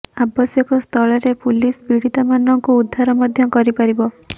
ଆବଶ୍ୟକ ସ୍ଥଳରେ ପୁଲିସ ପୀଡ଼ିତାମାନଙ୍କୁ ଉଦ୍ଧାର ମଧ୍ୟ କରି ପାରିବ